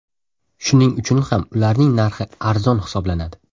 Shuning uchun ham ularning narxi arzon hisoblanadi.